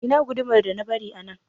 Ina gudumar da na bari a nan?